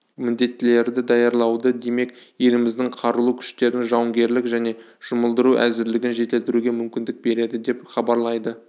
міндеттілерді даярлауды демек еліміздің қарулы күштерінің жауынгерлік және жұмылдыру әзірлігін жетілдіруге мүмкіндік береді деп хабарлайды